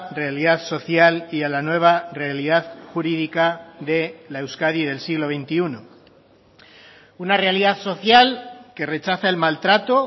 realidad social y a la nueva realidad jurídica de la euskadi del siglo veintiuno una realidad social que rechaza el maltrato